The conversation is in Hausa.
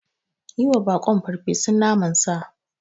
Yiwa baƙon farfesun naman sa.